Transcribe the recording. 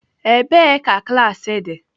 Ebee ka klaasị dị?